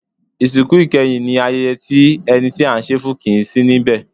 Ìsìnkú ìkẹyìn ní ayẹyẹ tí ẹni tí à ń ṣe e fún kìí sí níbẹ̀.